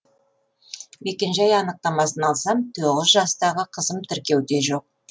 мекенжай анықтамасын алсам тоғыз жастағы қызым тіркеуде жоқ